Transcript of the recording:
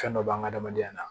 Fɛn dɔ b'an ka adamadenya la